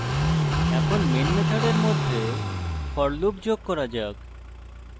এখন main মেথডের মধ্যে for loop যোগ করা যাক